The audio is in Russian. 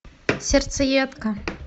сердцеедка